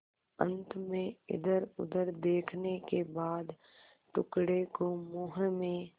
अंत में इधरउधर देखने के बाद टुकड़े को मुँह में